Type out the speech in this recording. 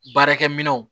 Baarakɛminɛnw